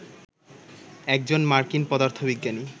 একজন মার্কিন পদার্থবিজ্ঞানী